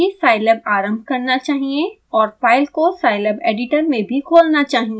यह अपने आप ही scilab आरम्भ करना चाहिए और फाइल को scilab एडिटर में भी खोलना चाहिए